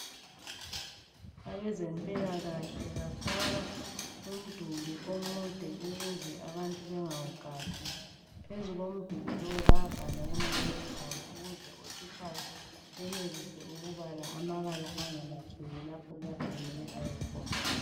Abezempilakahle bafaka umduli omude ukuze abanti bangawuqansi. Phezu komduli bayabhala ukuze otshutshayo abale angalahleki lapho ayakhona.